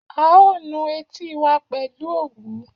A ó nu etí wa pẹ̀lú òwú